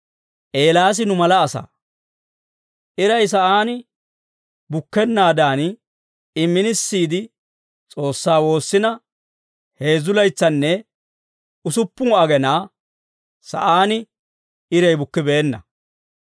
Eelaas nu mala asaa. Iray sa'aan bukkennaadan, I minisiide, S'oossaa woossina heezzu laytsanne usuppun agenaa sa'aan iray bukkibeenna.